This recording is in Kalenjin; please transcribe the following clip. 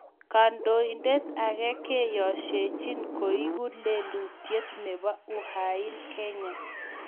Kandoindet ake kiyosiechin koeku lelutiet nebo Uhain Kenya.